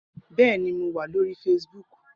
Bẹẹni, Mo wa lori Facebook